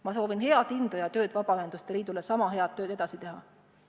Ma soovin Vabaühenduste Liidule indu sama head tööd edasi teha.